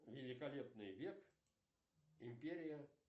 великолепный век империя